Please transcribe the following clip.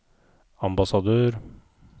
ambassadør